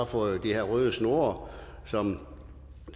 fået de her røde snore som